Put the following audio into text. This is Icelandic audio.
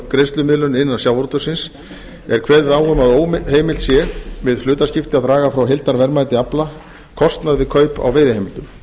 greiðslumiðlun innan sjávarútvegsins er kveðið á um að óheimilt sé við hlutaskipti að draga frá heildarverðmæti afla kostnað við kaup á veiðiheimildum